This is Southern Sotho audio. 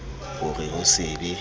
ho re ho se be